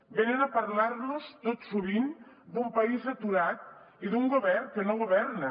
venen a parlar nos tot sovint d’un país aturat i d’un govern que no governa